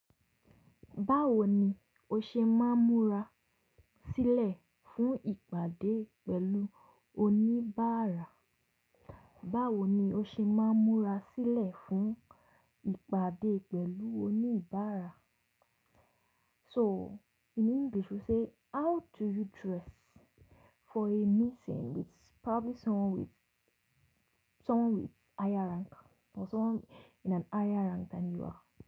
Báwo ni o ṣe máa múra sílẹ̀ fún ìpàdé pẹ̀lú oníbàárà? Báwo ni o ṣe máa múra sílẹ̀ fún ìpàdé pẹ̀lú oníbàárà? So in English we say how do you dress for a meeting with probably someone with, someone with higher rank or someone in an higher rank than you are.